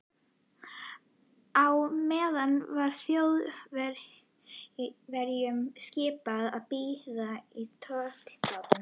Á meðan var Þjóðverjunum skipað að bíða í tollbátnum.